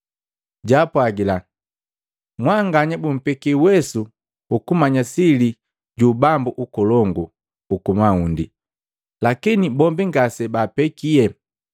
Jaapwagila, “Mwanganya bumpeki uwesu hukumanya sili ju ubambu ukolongu uku maundi, lakini bombi ngasebaapekie.